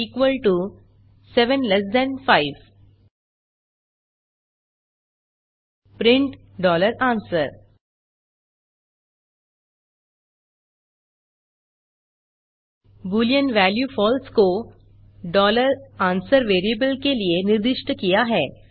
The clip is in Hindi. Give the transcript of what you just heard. answer 75 print answer Boolean value false को answer वेरिएबल के लिए निर्दिष्ट किया हैं